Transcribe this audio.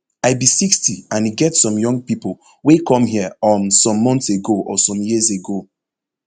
i be sixty and e get some young pipo wey come here um some months ago or some years ago